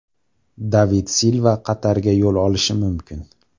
David Silva Qatarga yo‘l olishi mumkin.